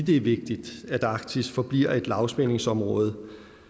er vigtigt at arktis forbliver et lavspændingsområde